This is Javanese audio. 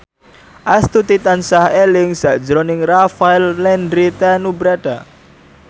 Astuti tansah eling sakjroning Rafael Landry Tanubrata